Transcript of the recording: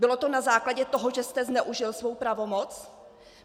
Bylo to na základě toho, že jste zneužil svou pravomoc?